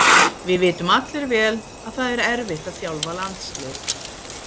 Við vitum allir vel að það erfitt að þjálfa landslið.